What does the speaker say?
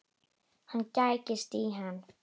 Hann gægist í hann.